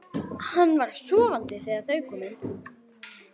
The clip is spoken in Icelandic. Hann var sofandi þegar þau komu inn.